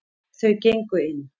Þau gengu inn.